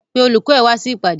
Pé olùkọ́ ẹ wá sí ìpàdé!